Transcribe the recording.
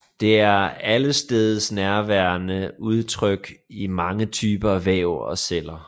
Det er allestedsnærværende udtrykt i mange typer væv og celler